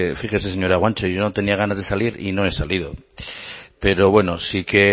fíjese señora guanche yo no tenía ganas de salir y no he salido pero bueno sí que